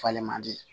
Falen man di